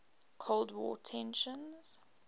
cold war tensions